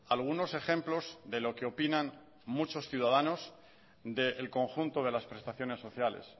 algunos ejemplos de lo que opinan muchos ciudadanos del conjunto de las prestaciones sociales